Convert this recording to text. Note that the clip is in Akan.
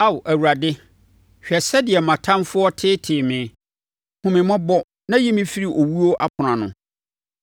Ao Awurade, hwɛ sɛdeɛ mʼatamfoɔ teetee me! Hu me mmɔbɔ na yi me firi owuo apono ano,